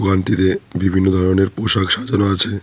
দোকানটিতে বিভিন্ন ধরনের পোশাক সাজানো আছে।